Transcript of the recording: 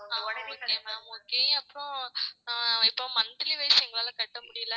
ஆஹ் okay ma'am okay அப்புறம் இப்போ monthly wise எங்களால கட்ட முடியலை